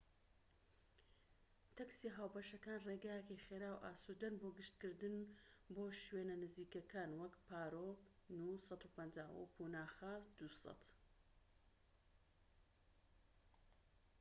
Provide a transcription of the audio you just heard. تەکسیە هاوبەشەکان ڕێگایەکی خێرا و ئاسوودەن بۆ گەشتکردن بۆ شوێنە نزیکەکان، وەک پارۆ نو 150 و پوناخە نو 200